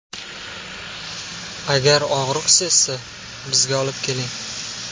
Agar og‘riq sezsa, bizga olib keling.